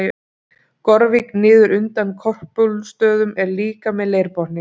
Gorvík niður undan Korpúlfsstöðum er líka með leirbotni.